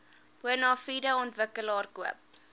bonafide ontwikkelaar koop